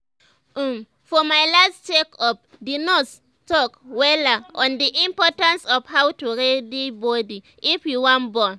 um for my last check up the nurse talk wella on the importance of how to ready body if you wan born